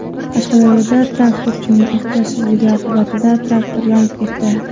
Qashqadaryoda traktorchining ehtiyotsizligi oqibatida traktor yonib ketdi.